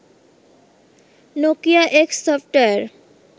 Nokia X software